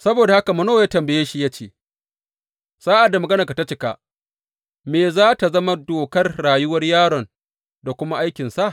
Saboda haka Manowa ya tambaye shi ya ce, Sa’ad da maganarka ta cika, me za tă zama dokar rayuwar yaron da kuma aikinsa?